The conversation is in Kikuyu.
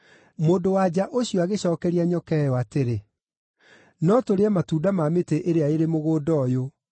Mũndũ-wa-nja ũcio agĩcookeria nyoka ĩyo atĩrĩ, “No tũrĩe matunda ma mĩtĩ ĩrĩa ĩrĩ mũgũnda ũyũ,